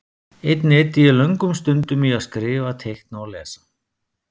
Einnig eyddi ég löngum stundum í að skrifa, teikna og lesa.